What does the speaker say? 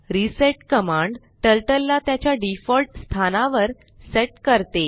reset command turtle ला त्याच्या default स्थानावर सेट करते